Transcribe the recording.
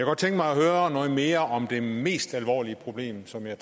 godt tænke mig at høre noget mere om det mest alvorlige problem som jeg